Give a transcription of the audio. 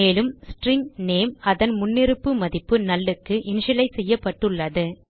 மேலும் string name அதன் முன்னிருப்பு மதிப்பு நல் க்கு இனிஷியலைஸ் செய்யப்பட்டுள்ளது